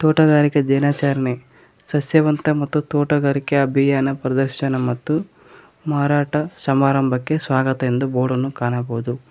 ತೋಟಗಾರಿಕೆ ದಿನಾಚಾರಣೆ ಸಸ್ಯ ಸಂತೆ ಮತ್ತು ತೋಟಗಾರಿಕೆ ಅಭಿಯಾನ ಪ್ರದರ್ಶನ ಮತ್ತು ಮಾರಾಟ ಸಮಾರಂಭಕ್ಕೆ ಸ್ವಾಗತ ಎಂದು ಬೋರ್ಡನ್ನು ಕಾಣಬೋದು.